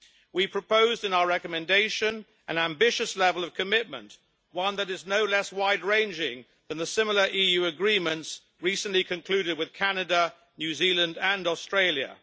We proposed in our recommendation an ambitious level of commitment, one that is no less wide ranging than the similar EU agreements recently concluded with Canada, New Zealand and Australia.